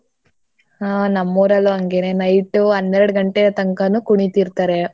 ಹೂ ನಮ್ ಊರಲ್ಲೂ ಹಂಗೆನೇ night ಹನ್ನೆರಡ್ ಗಂಟೆತಂಕನೂ ಕುಣಿತಿರ್ತಾರೆ.